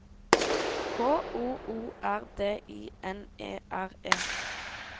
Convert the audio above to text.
K O O R D I N E R E